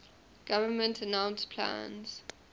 government announced plans